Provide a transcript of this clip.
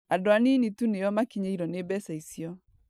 Andũ anini tu nĩo makinyĩirwo nĩ mbeca icio